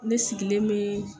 Ne sigilen me